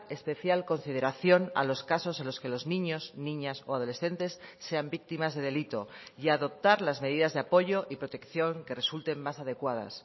especial consideración a los casos en los que los niños niñas o adolescentes sean víctimas de delito y adoptar las medidas de apoyo y protección que resulten más adecuadas